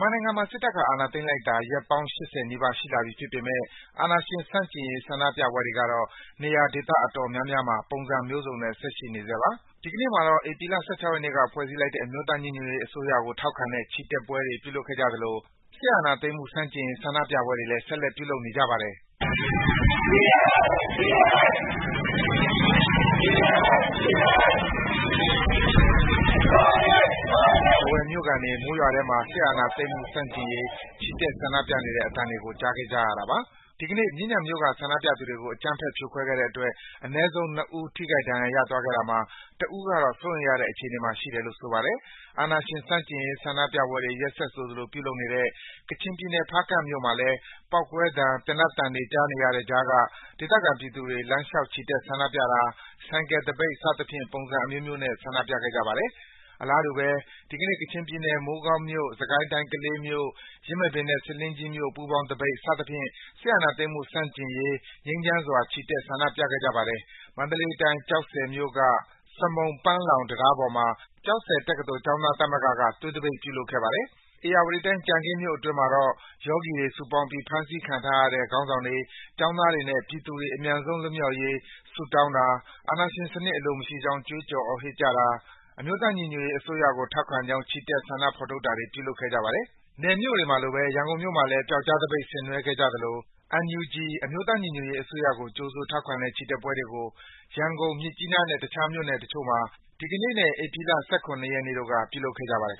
မာနိုင်ငံမှာ စစ်တပ်က အာဏာသိမ်းလိုက်တာ ရက်ပေါင်း ၈၀ နီးပါး ရှိလာပြီဖြစ်ပေမယ့် အာဏာရှင်ဆန့်ကျင်ရေး ဆန္ဒပြပွဲတွေကတော့ နေရာဒေသ အတော်များများမှာ ပုံစံမျိုးစုံနဲ့ ဆက်ရှိနေဆဲပါ။ ဒီကနေ့မှာတော့ ဧပြီလ ၁၆ ရက်နေ့က ဖွဲ့စည်းလိုက်တဲ့ အမျိုးသားညီညွတ်ရေးအစိုးရကို ထောက်ခံတဲ့ ချီတက်ပွဲတွေ ပြုလုပ်ခဲ့ကြသလို စစ်အာဏာသိမ်းမှု ဆန့်ကျင်ရေး ဆန္ဒပြပွဲတွေလည်း ဆက်လက် ပြုလုပ်နေကြပါတယ်။ ထားဝယ်မြို့ခံတွေ မိုးရွာထဲမှာ စစ်အာဏာသိမ်းမှု ဆန့်ကျင်ရေး ချီတက် ဆန္ဒပြခဲ့ကြပါတယ်။ ဒီကနေ့ မြင်းခြံမြို့ ဆန္ဒပြသူတွေကို အကြမ်းဖက် ဖြိုခွဲခဲ့တဲ့အတွက် အနည်းဆုံး ၂ ဦး ထိခိုက်ဒဏ်ရာ ရသွားခဲ့တာမှာ တဦးကတော့ စိုးရိမ်ရတဲ့ အခြေအနေမှာ ရှိတယ်လို့ ဆိုပါတယ်။ အာဏာရှင်ဆန့်ကျင်ရေး ဆန္ဒပြပွဲတွေ ရက်ဆက်ဆိုသလို ပြုလုပ်နေတဲ့ ကချင်ပြည်နယ်၊ ဖားကန့်မြို့မှာလည်း ပေါက်ကွဲသံ၊ သေနတ်သံတွေ ကြားနေရတဲ့ကြားက ဒေသခံပြည်သူတွေ လမ်းလျှောက် ချီတက်ဆန္ဒပြတာ၊ ဆိုင်ကယ်သပိတ် စသဖြင့် ပုံစံအမျိုးမျိုးနဲ့ ဆန္ဒပြခဲ့ကြပါတယ်။ အလားတူပဲ ဒီကနေ့မှာ ကချင်ပြည်နယ်၊ မိုးကောင်းမြို့၊ စစ်ကိုင်းတိုင်း ကလေးမြို့၊ ယင်းမာပင်နဲ့ ဆားလင်းကြီးမြို့ ပူးပေါင်းသပိတ် စသဖြင့် စစ်အာဏာသိမ်းမှု ဆန့်ကျင်ရေး ငြိမ်းချမ်းစွာ ချီတက် ဆန္ဒပြခဲ့ကြပါတယ်။ မန္တလေးတိုင်း၊ ကျောက်ဆည်မြို့က စမုံ၊ ပန်းလောင် တံတားပေါ်မှာ ကျောက်ဆည်တက္ကသိုလ် ကျောင်းသားများသမဂ္ဂက သွေးသပိတ် ပြုလုပ်ခဲ့ပါတယ်။ ဧရာဝတီတိုင်း၊ ကြံခင်းမြို့နယ်အတွင်းမှာတော့ ယောဂီတွေ စုပေါင်းပြီး ဖမ်းဆီးခံထားရတဲ့ ခေါင်းဆောင်တွေ၊ ကျောင်းသားတွေနဲ့ ပြည်သူတွေ အမြန်ဆုံး လွတ်မြောက်ဖို့ ဆုတောင်းတာ၊ စစ်အာဏာရှင်စနစ် အလိုမရှိကြောင်း ကြွေးကြော်သံများ ဟစ်ကြွေးတာ၊ အမျိုးသားညီညွတ်ရေးအစိုးရကို ထောက်ခံကြောင်း ချီတက် ဆန္ဒဖော်ထုတ်တာတွေ ပြုလုပ်ခဲ့ကြပါတယ်။ နယ်မြို့တွေမှာလို ရန်ကုန်မြို့မှာလည်း ပြောက်ကျားသပိတ်တွေ ဆင်နွှဲခဲ့ကြသလို NUG အမျိုးသားညီညွတ်ရေးအစိုးရကို ကြိုဆိုထောက်ခံတဲ့ ချီတက်ပွဲတွေကို ရန်ကုန်၊ မြစ်ကြီးနားနဲ့ တခြား မြို့နယ်တချို့တို့မှာ ဒီကနေ့နဲ့ မနေ့ ဧပြီလ ၁၇ ရက်တို့က ပြုလုပ်ခဲ့ကြပါတယ်